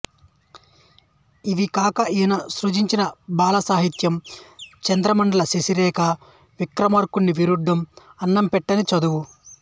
ఇవి కాక ఈయన సృజించిన బాలసాహిత్యం చంద్రమండలంశశిరేఖ విక్రమార్కుని విడ్డూరం అన్నం పెట్టని చదువు